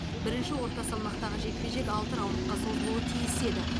бірінші орта салмақтағы жекпе жек алты раундқа созылуы тиіс еді